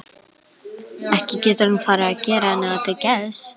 Ekki getur hann farið að gera henni það til geðs?